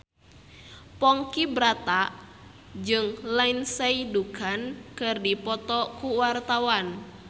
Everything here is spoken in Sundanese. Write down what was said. Ponky Brata jeung Lindsay Ducan keur dipoto ku wartawan